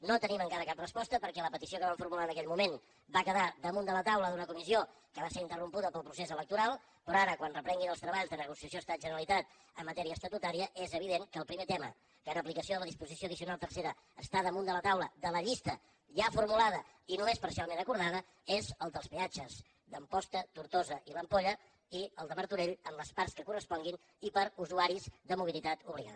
no tenim encara cap resposta perquè la petició que vam formular en aquell moment va quedar damunt de la taula d’una comissió que va ser interrompuda pel procés electoral però ara quan es reprenguin els treballs de negociació estat generalitat en matèria estatutària és evident que el primer tema que en aplicació de la disposició addicional tercera està damunt de la taula de la llista ja formulada i només parcialment acordada és el dels peatges d’amposta tortosa i l’ampolla i el de martorell en les parts que corresponguin i per a usuaris de mobilitat obligada